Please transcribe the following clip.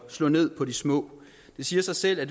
slå ned på de små det siger sig selv at